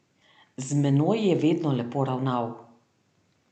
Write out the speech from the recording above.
Z menoj je vedno lepo ravnal.